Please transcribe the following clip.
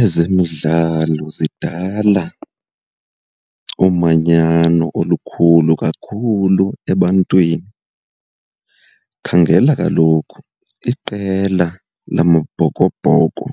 Ezemidlalo zidala umanyano olukhulu kakhulu ebantwini. Khangela kaloku, iqela lamaBhokoBhoko